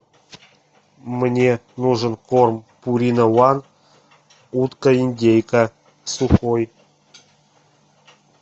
мне нужен корм пурина ван утка индейка сухой